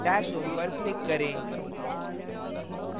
dashhome पर click करें